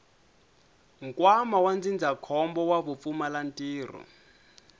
nkwama wa ndzindzakhombo wa vupfumalantirho